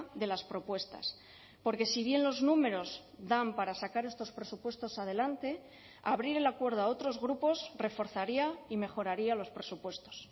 de las propuestas porque si bien los números dan para sacar estos presupuestos adelante abrir el acuerdo a otros grupos reforzaría y mejoraría los presupuestos